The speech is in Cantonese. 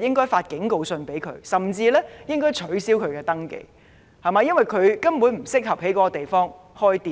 他們發警告信，甚至取消他們的登記，因為他們根本不適合在該處開店。